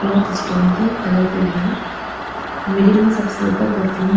stone के colourful हैं middle में सबसे ऊपर परफ्यूम --